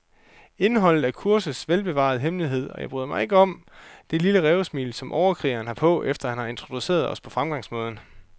Indholdet er kursets velbevarede hemmelighed, og jeg bryder mig ikke om det lille rævesmil, som overkrigeren har på, efter han har introduceret os om fremgangsmåden.